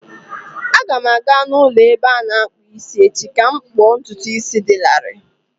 Aga m aga n'ụlọ ebe a na-akpụ isi echi ka m kpụọ ntutu isi dị larịị.